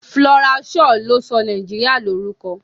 Flora Shaw ló sọ Nàìjíríà ní orúkọ.